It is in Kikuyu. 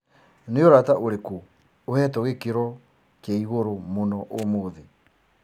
ni urata ũrĩkũ uhetwo gĩkĩro kĩaĩgũrũ mũno umuthi